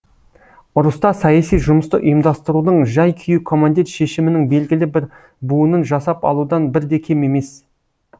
ұрыста саяси жұмысты ұйымдастырудың жай күйі командир шешімінің белгілі бір буынын жасап алудан бір де кем емес